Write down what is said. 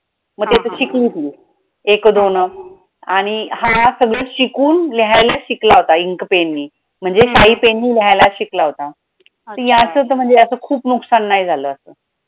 मग ते तर शिकले ती एक दोन आणि हा सगळं शिकून लिहायला शिकला होता ink pen नि म्हणजे शाई pen नि लिहायला शिकला होता याचं तर याचं खूप नुकसान नाही झालं असं